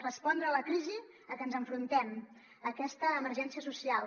respondre a la crisi a què ens enfrontem a aquesta emergència social